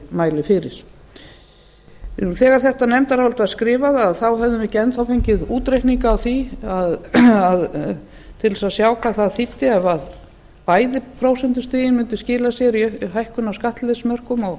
mæli fyrir þegar þetta nefndarálit var skrifað höfðum við ekki enn þá fengið útreikninga á því til þess að sjá hvað það þýddi ef bæði prósentustigin mundu skila sér í hækkun á